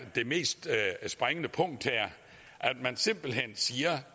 det mest springende punkt her at man simpelt hen siger at